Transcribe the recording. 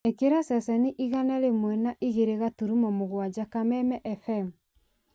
ĩkĩra ceceni igana rĩmwe na igĩrĩ gaturumo mũgwanja kameme f.m.